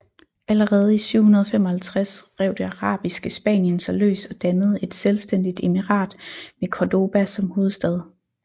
Allerede i 755 rev det arabiske Spanien sig løs og dannede et selvstændigt emirat med Cordoba som hovedstad